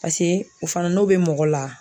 o fana n'o bɛ mɔgɔ la